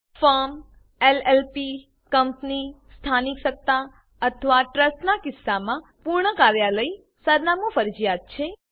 firm LLP company સ્થાનિક સત્તા અથવા ટ્રસ્ટનાં કિસ્સામાં પૂર્ણ કાર્યાલય સરનામું ફરજીયાત છે